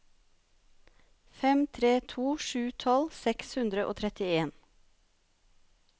fem tre to sju tolv seks hundre og trettien